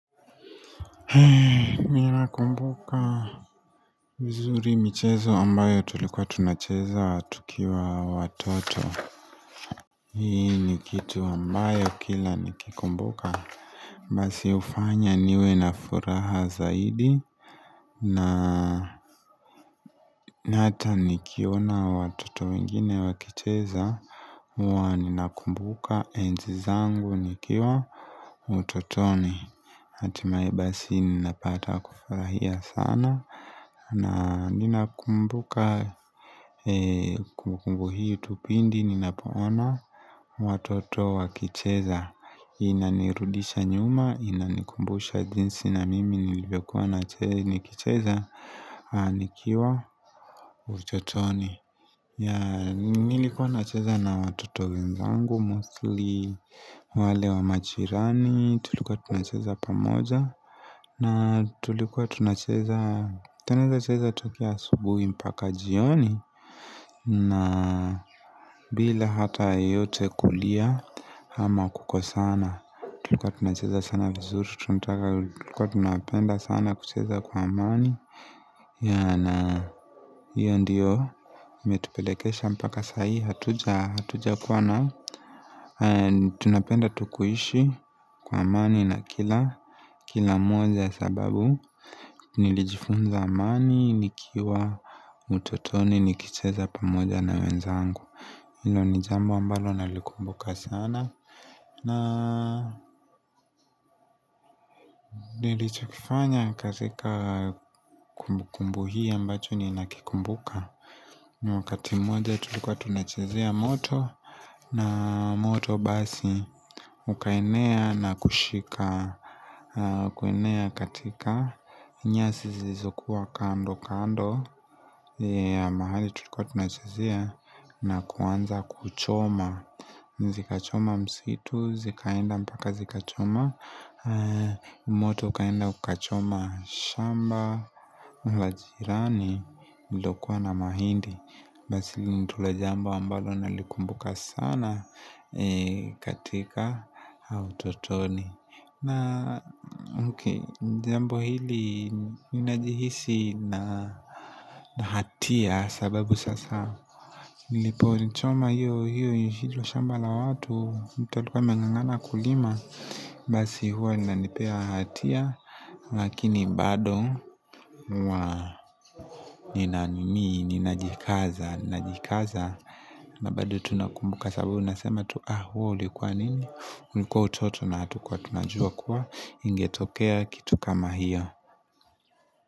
Hei, nina kumbuka vizuri michezo ambayo tulikuwa tunacheza tukiwa watoto Hii ni kitu ambayo kila nikikumbuka Basi ufanya niwe na furaha zaidi na hata nikiona watoto wengine wakicheza mwa nina kumbuka enzizangu nikiwa utotoni Atimae basi ninapata kufarahia sana na nina kumbuka kumbukumbu hii pindi nina poona watoto wa kicheza Inanirudisha nyuma, inanikumbusha jinsi na mimi nilivyo kuwa na kicheza Anikiwa utotoni. Nilikuwa nacheza na watoto wenzangu, mostly, wale wa majiirani Tulikuwa tunacheza pa moja na tulikuwa tunacheza Tunaeza cheza tukia subuhi mpaka jioni na bila hata yoyote kulia ama kukosana. Tulikuwa tunacheza sana vizuri Tulikuwa tunapenda sana kucheza kwa amani yana hiyo ndiyo imetupelekesha mpaka sayi Hatuja kwa na Tunapenda tukuishi kwa amani na kila mwaza sababu Nilijifunza amani, nikiwa utotoni, nikicheza pamoja na wenzangu Ilo ni jambo ambalo na likumbuka sana na nilichakifanya katika kumbu kumbu hii ambacho ni nakikumbuka Mwakati mwoja tulikuwa tunachezia moto na moto basi ukainea na kushika Kuenea katika nyasi zizokuwa kando kando mahali tulikuwa tunachazia na kuwanza kuchoma zika choma msitu, zikaenda mpaka zikachoma moto uka enda kuchoma shamba, la jirani, lukua na mahindi Basili ntule jambo ambalo nalikumbuka sana katika utotoni na uke jambo hili minajihisi na hatia sababu sasa Nilipo nchoma hiyo hiyo hiyo shamba la watu Mitalika mengangana kulima Basi huwa nanipea hatia Lakini bado huwa nina nimi, nina jikaza, nina jikaza Babado tunakumbuka sababu unasema tu ah huwa ulikuwa nini Uniko utoto na hatu kwa tunajua kuwa ingetokea kitu kama hiyo.